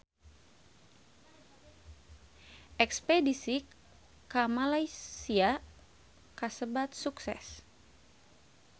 Espedisi ka Malaysia kasebat sukses